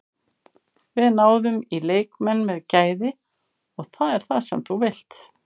Við náðum í leikmenn með gæði og það er það sem þú vilt.